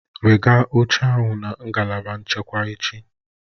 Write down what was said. Wegaa oche ahụ na ngalaba nchekwa echi!